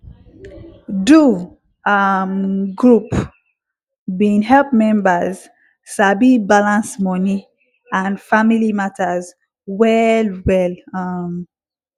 do um group bin help members sabi balance moni and family matters well well um